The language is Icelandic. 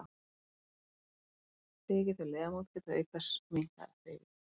Þeki þau liðamót geta þau auk þess minnkað hreyfigetu.